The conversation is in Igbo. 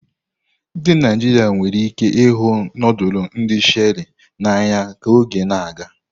Ndị Naijiria nwere ike ịhụ nudulu ndi Sherie n'anya ka oge na-aga.